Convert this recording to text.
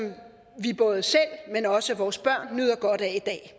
vi både selv men også vores børn nyder godt af i dag